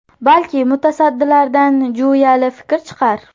Balki mutasaddilardan jo‘yali taklif chiqar?